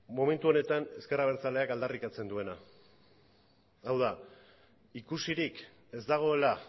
momentu honetan ezker abertzaleak aldarrikatzen duena hau da ikusirik ez dagoela